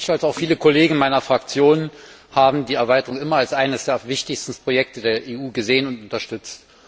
Ich und auch viele Kollegen meiner Fraktion haben die Erweiterung immer als eines der wichtigsten Projekte der EU gesehen und unterstützt.